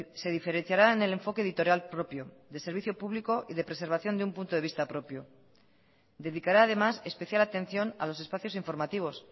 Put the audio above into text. se diferenciará en el enfoque editorial propio de servicio público y de preservación de un punto de vista propio dedicará además especial atención a los espacios informativos